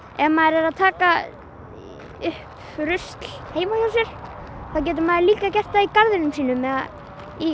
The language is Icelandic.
ef maður er að taka upp rusl heima hjá sér þá getur maður líka gert það í garðinum sínum eða í